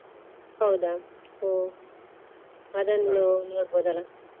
ಹೌದಾ ಹೊ ಅದನ್ನು ನೋಡ್ಬಹುದಲ್ಲಾ?